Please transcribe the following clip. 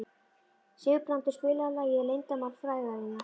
Sigurbrandur, spilaðu lagið „Leyndarmál frægðarinnar“.